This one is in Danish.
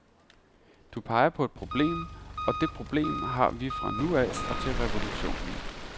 Du peger på et problem, og det problem har vi fra nu af og til revolutionen.